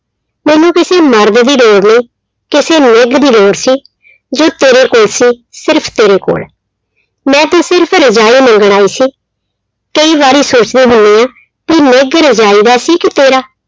ਮੈਨੂੰ ਕਿਸੇ ਮਰਦ ਦੀ ਲੋੜ ਨਹੀਂ ਕਿਸੇ ਨਿੱਘ ਦੀ ਲੋੜ ਸੀ ਜੋ ਤੇਰੇ ਕੋਲ ਸੀ ਸਿਰਫ਼ ਤੇਰੇ ਕੋਲ, ਮੈਂ ਤੇ ਸਿਰਫ਼ ਰਜਾਈ ਮੰਗਣ ਆਈ ਸੀ, ਕਈ ਵਾਰੀ ਸੋਚਦੀ ਹੁੰਦੀ ਹਾਂ ਵੀ ਨਿੱਘ ਰਜਾਈ ਦਾ ਸੀ ਕਿ ਤੇਰਾ।